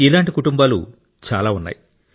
ఇలాంటి చాలా కుటుంబాలు ఉన్నాయి